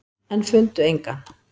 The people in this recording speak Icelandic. En fundu engan.